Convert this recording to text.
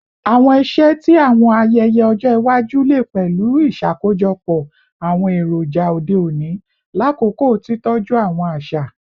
Awọn iṣẹ ti awọn ayẹyẹ ọjọ iwaju le pẹlu iṣakojọpọ awọn eroja ode oni lakoko titọju awọn aṣa